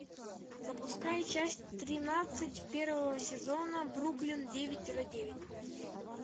запускай часть тринадцать первого сезона бруклин девять тире девять